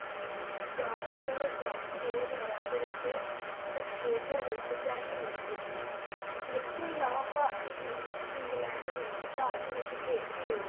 Gavaskar Trophy ਦੋ ਹਾਜਰ ਅੱਠ ਵਿਚ Autralia ਵਿਰੁੱਧ Test ਲਾੜੀ ਜੀਤੀ ਇਸ ਤੋਂ ਇਲਾਵਾ ਭਾਰਤੀ ਟੀਮ ਨੇ England ਵਰੁਦ ਭਾਰਤ ਵਿਚ ਖੇਡ੍ਹਦੇ ਹੋਏ